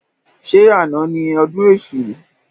Ṣé àna ni ọdún èṣù?